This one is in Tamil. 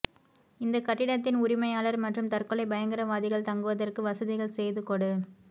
இந்த கட்டிடத்தின் உரிமையாளர் மற்றும் தற்கொலை பயங்கரவாதிகள் தங்குவதற்கு வசதிகள் செய்து கொடு